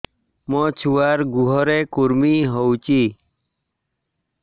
ମୋ ଛୁଆର୍ ଗୁହରେ କୁର୍ମି ହଉଚି